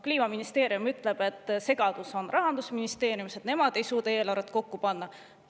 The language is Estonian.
Kliimaministeerium ütleb, et segadus on Rahandusministeeriumis, et nemad ei suuda eelarvet kokku panna.